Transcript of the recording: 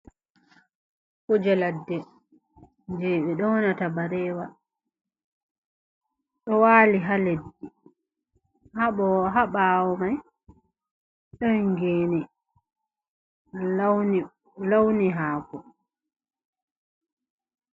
Kuje ladde je ɓe yownata barewa ɗo wali ha leddi ha bawo mai ɗon geni launi launi hako.